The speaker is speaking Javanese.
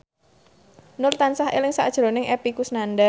Nur tansah eling sakjroning Epy Kusnandar